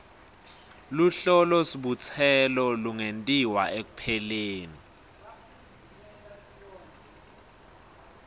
luhlolosibutselo lungentiwa ekupheleni